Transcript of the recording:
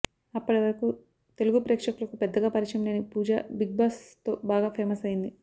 అప్పటి వరకు తెలుగు ప్రేక్షకులకు పెద్దగా పరిచయం లేని పూజా బిగ్ బాస్ తో బాగా ఫేమస్ అయ్యింది